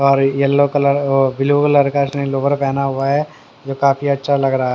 और yellow colour और blue colour का इसने लोवर पहना हुआ है जो काफी अच्छा लग रहा है।